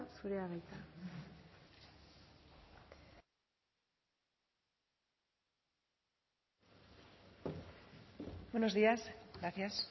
zurea da hitza buenos días gracias